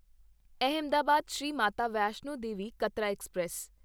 Ahmedabad Shri Mata Vaishno Devi Katra express